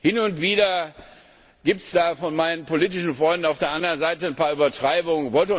Hin und wieder gibt es von meinen politischen Freunden auf der anderen Seite ein paar Übertreibungen.